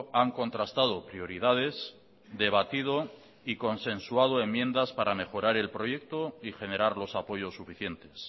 han contrastado prioridades debatido y consensuado enmiendas para mejorar el proyecto y generar los apoyos suficientes